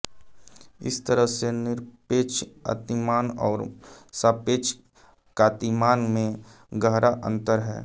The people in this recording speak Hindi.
इस तरह से निरपेक्ष कांतिमान और सापेक्ष कांतिमान में गहरा अंतर है